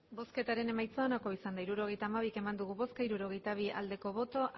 hirurogeita hamabi eman dugu bozka hirurogeita bi bai